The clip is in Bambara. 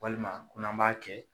Walima ko n'an b'a kɛ